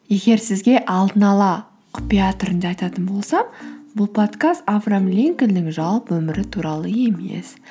егер сізге алдын ала құпия түрінде айтатын болсам бұл подкаст авраам линкольннің жалпы өмірі туралы емес